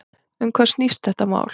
Um hvað snýst þetta mál?